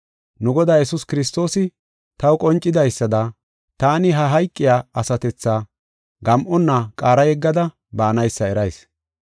Nu Godaa Yesuus Kiristoosi taw qoncisadaysada taani ha hayqiya asatethaa gam7onna qaara yeggada baanaysa erayis.